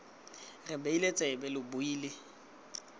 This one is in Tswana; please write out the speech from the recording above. re beile tsebe lo buile